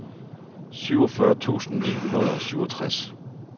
syvogfyrre tusind ni hundrede og syvogtres